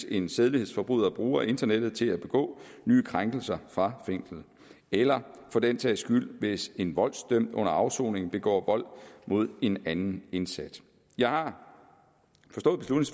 en sædelighedsforbryder bruger internettet til at begå nye krænkelser fra fængslet eller for den sags skyld hvis en voldsdømt under afsoningen begår vold mod en anden indsat jeg har